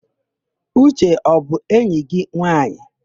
Uche ọ bụ enyi gị nwaanyị?